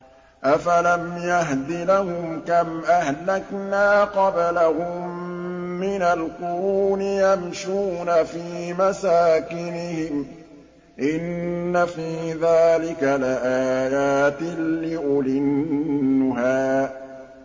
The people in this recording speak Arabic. أَفَلَمْ يَهْدِ لَهُمْ كَمْ أَهْلَكْنَا قَبْلَهُم مِّنَ الْقُرُونِ يَمْشُونَ فِي مَسَاكِنِهِمْ ۗ إِنَّ فِي ذَٰلِكَ لَآيَاتٍ لِّأُولِي النُّهَىٰ